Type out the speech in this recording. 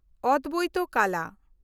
ᱚᱫᱽᱵᱮᱭᱛᱚ ᱠᱟᱞᱟ